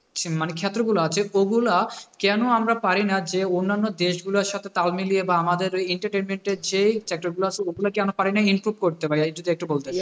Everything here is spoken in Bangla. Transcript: মানে ক্ষেত্রগুলো আছে ওগুলা কেন আমরা পারিনা যে অন্যান্য দেশগুলার সাথে তাল মিলিয়ে বা আমাদের ওই entertainment এর যে আছে ওগুলা কেন পারেনি improve করতে, ভাইয়া যদি একটু বলতেন।